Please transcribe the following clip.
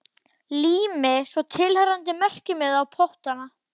Lími svo tilheyrandi merkimiða á pottana.